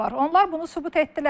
Onlar bunu sübut etdilər.